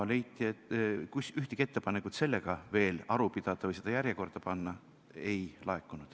Ühtegi ettepanekut selle üle veel aru pidada või see järjekorda panna ei laekunud.